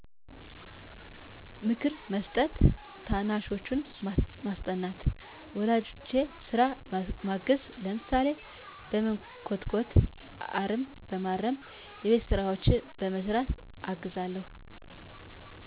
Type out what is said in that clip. ምክር በመስጠት፣ ታናናሾቸን በማስጠናት፣ ወላጆቼን ስራ በማገዝ፣ ለምሳሌ፦ በመኮትኮት፣ አረም በማረም፣ የቤት ስራዎችን በመስራት አግዛቸዋለሁ